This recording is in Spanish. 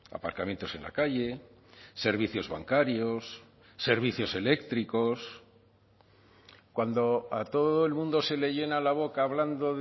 aparcamientos en la calle servicios bancarios servicios eléctricos cuando a todo el mundo se le llena la boca hablando